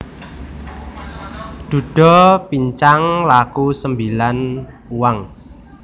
Dhudha pincang laku sembilan uang